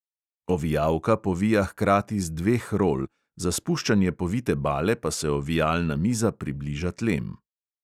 Ovijalka povija hkrati z dveh rol, za spuščanje povite bale pa se ovijalna miza približa tlem.